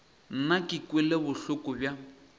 nna ke kwele bohloko bja